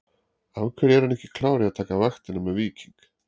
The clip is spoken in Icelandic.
Af hverju er hann ekki klár í að taka vaktina með Víking?